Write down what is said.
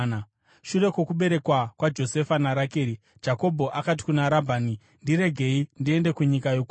Shure kwokuberekwa kwaJosefa naRakeri, Jakobho akati kuna Rabhani, “Ndiregei ndiende kunyika yokwangu.